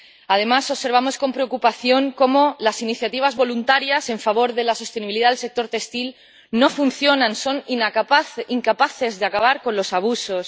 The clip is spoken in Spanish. Además, observamos con preocupación cómo las iniciativas voluntarias en favor de la sostenibilidad del sector textil no funcionan, son incapaces de acabar con los abusos.